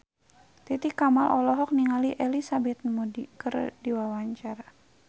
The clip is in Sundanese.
Titi Kamal olohok ningali Elizabeth Moody keur diwawancara